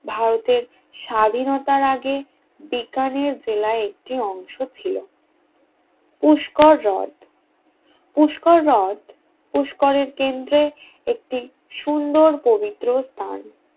ভারতের স্বাধীনতার আগে বিজ্ঞানের জেলায় একটি অংশ ছিল পুষ্কর হ্রদ পুষ্কর হ্রদ পুস্করের কেন্দ্রের একটি সুন্দর পবিত্র স্থান